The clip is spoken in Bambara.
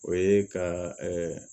O ye ka